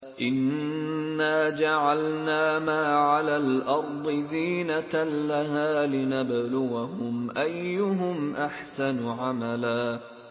إِنَّا جَعَلْنَا مَا عَلَى الْأَرْضِ زِينَةً لَّهَا لِنَبْلُوَهُمْ أَيُّهُمْ أَحْسَنُ عَمَلًا